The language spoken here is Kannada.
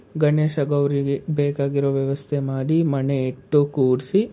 ಗಣೇಶ ಗೌರಿಗೆ ಬೇಕಾಗಿರೋ ವ್ಯವಸ್ಥೆ ಮಾಡಿ ಮಣೆ ಇಟ್ಟು ಕೂರ್ಸಿ,